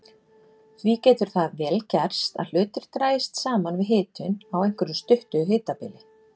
Því getur það vel gerst að hlutir dragist saman við hitun á einhverju stuttu hitabili.